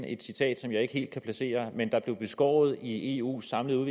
et citat som jeg ikke helt kan placere men der blev skåret i eus samlede